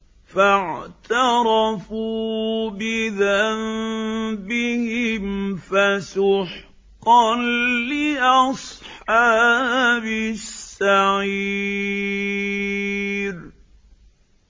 فَاعْتَرَفُوا بِذَنبِهِمْ فَسُحْقًا لِّأَصْحَابِ السَّعِيرِ